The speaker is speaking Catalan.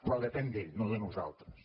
però depèn d’ell no de nosaltres